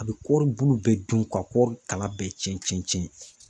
A be kɔri bulu bɛɛ dun ka kɔri kala bɛɛ cɛn cɛn cɛn